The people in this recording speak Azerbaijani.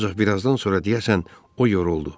Ancaq birazdan sonra deyəsən o yoruldu.